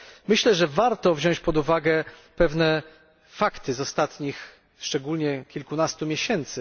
Myślę, że warto wziąć pod uwagę pewne fakty z ostatnich kilkunastu miesięcy.